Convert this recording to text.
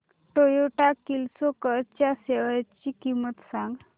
Toyota Kirloskar च्या shares ची किंमत सांग